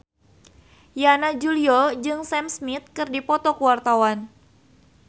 Yana Julio jeung Sam Smith keur dipoto ku wartawan